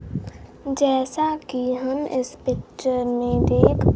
जैसा कि हम इस पिक्चर में देख--